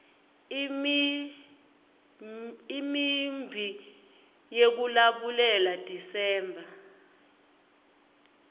imiumbi yekulabulela desember